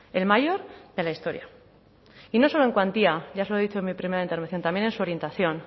el mayor de la historia y no solo en cuantía ya se lo he dicho en mi primera intervención también en su orientación